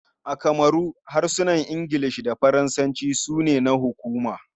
A kamaru, harsunan Ingilishi da Faransanci ne na hukuma.